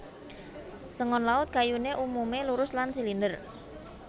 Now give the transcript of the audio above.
Sengon Laut kayuné umumé lurus lan silinder